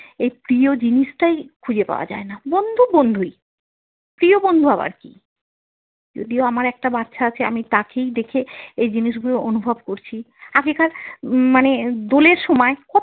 এই প্রিয় জিনিসটাই খুঁজে পাওয়া যায় না বন্ধু বন্ধুই, প্রিয় বন্ধু আবার কী যদিও আমার একটা বাচ্ছা আছে, আমি তাঁকেই দেখে এই জিনিস গুলো অনুভব করছি আগেকার মানে দোলের সময়।